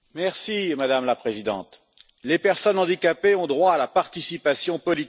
Madame la Présidente, les personnes handicapées ont droit à la participation politique.